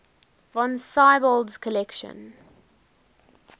von siebold's collection